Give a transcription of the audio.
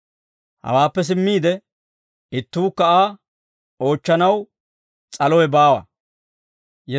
Hawaappe simmiide, ittuukka Aa oochchanaw s'alowe baawa.